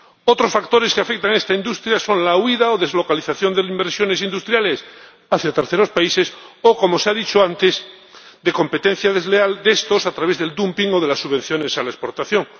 Otros factores que afectan a esta industria son la huida o deslocalización de inversiones industriales hacia terceros países o ―como se ha dicho antes― la competencia desleal de estos a través del dumping o de las subvenciones a la exportación.